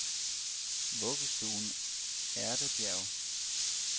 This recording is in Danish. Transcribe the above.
Vuggestuen Ærtebjerg